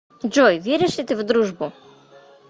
джой веришь ли ты в дружбу